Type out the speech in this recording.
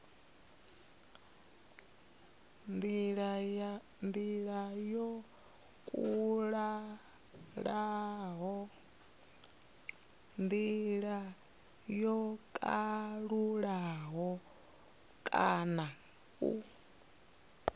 ndila yo kalulaho kana u